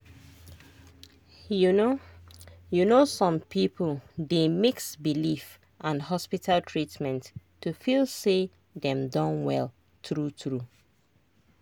you know you know some people dey mix belief and hospital treatment to feel say dem don well true true.